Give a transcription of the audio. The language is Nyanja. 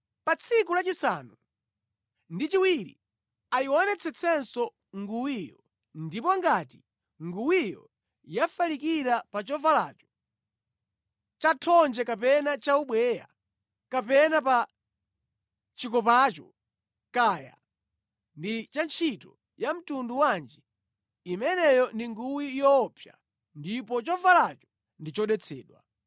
Pa tsiku lachisanu ndi chiwiri ayionetsetsenso nguwiyo ndipo ngati nguwiyo yafalikira pa chovalacho, chathonje kapena chaubweya, kapena pa chikopacho, kaya ndi cha ntchito ya mtundu wanji, imeneyo ndi nguwi yoopsa ndipo chovalacho ndi chodetsedwa.